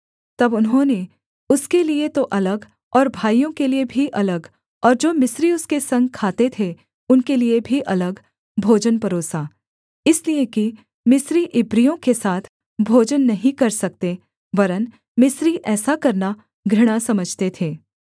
तब उन्होंने उसके लिये तो अलग और भाइयों के लिये भी अलग और जो मिस्री उसके संग खाते थे उनके लिये भी अलग भोजन परोसा इसलिए कि मिस्री इब्रियों के साथ भोजन नहीं कर सकते वरन् मिस्री ऐसा करना घृणा समझते थे